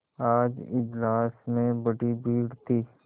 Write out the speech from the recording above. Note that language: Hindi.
आज इजलास में बड़ी भीड़ थी